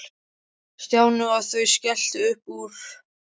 Stjáni og þau skelltu upp úr.